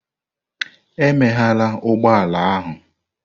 Emeghela ụgbọ ala ahụ!